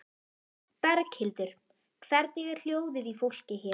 Berghildur: Hvernig er hljóðið í fólki hér?